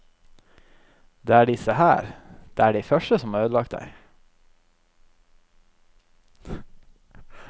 Det er disse her, det er de som har ødelagt deg.